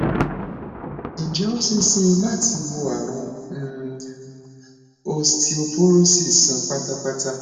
ǹjé ó ṣeé ṣe láti wo àrùn um osteoporosis sàn pátápátá